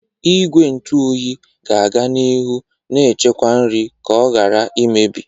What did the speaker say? Igwe nju oyi ga-aga n'ihu na-echekwa nri ka ọ ghara imebi.